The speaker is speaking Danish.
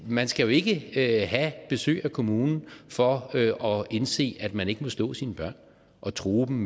man skal jo ikke have besøg af kommunen for at indse at man ikke må slå sine børn og true dem